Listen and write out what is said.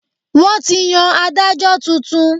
Wọn ti yàn Ádájọ́ tuntun.